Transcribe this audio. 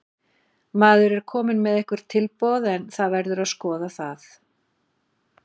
Maður er kominn með einhver tilboð en það verður að skoða það.